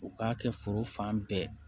U k'a kɛ foro fan bɛɛ